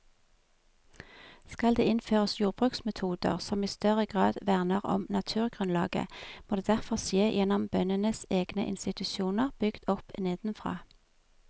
Skal det innføres jordbruksmetoder som i større grad verner om naturgrunnlaget, må det derfor skje gjennom bøndenes egne institusjoner bygd opp nedenfra.